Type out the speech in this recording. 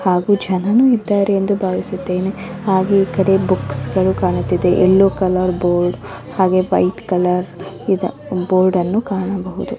ಹಾಗು ಜನನೂ ಇದ್ದಾರೆ ಎಂದು ಭಾವಿಸುತ್ತೇನೆ ಹಾಗೆ ಈ ಕಡೆ ಬುಕ್ಸ್ ಗಳು ಕಾಣುತ್ತಿದೆ. ಎಲ್ಲೋ ಕಲರ್ ಬೋರ್ಡ್ ಹಾಗೆ ವೈಟ್ ಕಲರ್ ನಿಜ ಬೋರ್ಡ್ ಅಲ್ಲ ಕಾಣಬಹುದು.